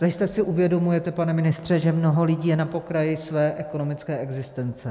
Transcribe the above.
Zajisté si uvědomujete, pane ministře, že mnoho lidí je na pokraji své ekonomické existence.